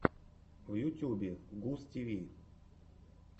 в ютубе густиви